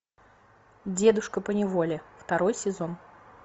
дедушка поневоле второй сезон